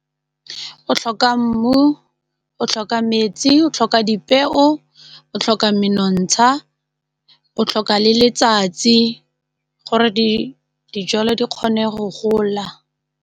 O tlhoka mmu, o tlhoka metsi, o tlhoka dipeo o tlhoka menontsha o tlhoka le letsatsi gore dijalo di kgone go gola.